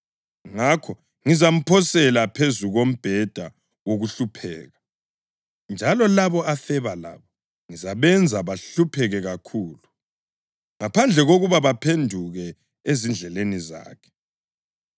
Ngakho ngizamphosela phezu kombheda wokuhlupheka, njalo labo afeba labo ngizabenza bahlupheke kakhulu, ngaphandle kokuba baphenduke ezindleleni zakhe.